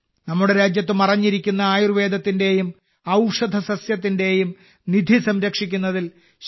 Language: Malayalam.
നമ്മുടെ രാജ്യത്ത് മറഞ്ഞിരിക്കുന്ന ആയുർവേദത്തിന്റെയും ഔഷധസസ്യത്തിന്റെയും നിധി സംരക്ഷിക്കുന്നതിൽ ശ്രീമതി